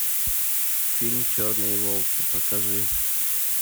фильм черные волки покажи